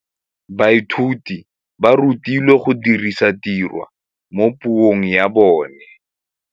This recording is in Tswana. Baithuti ba rutilwe go dirisa tirwa mo puong ya bone.